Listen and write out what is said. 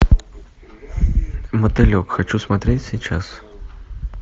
мотылек хочу смотреть сейчас